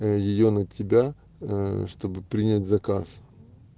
ээ её на тебя ээ чтобы принять заказ